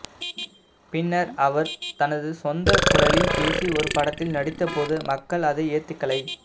பின்னர் அவர் தனது சொந்த குரலில் பேசி ஒரு படத்தில் நடித்த போது மக்கள் அதை ஏத்துக்கலை